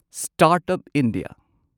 start up India